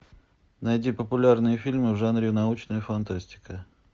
найди популярные фильмы в жанре научная фантастика